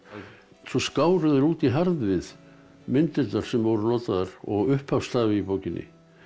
svo skáru þeir út í harðvið myndirnar sem voru notaðar og upphafsstafi í bókinni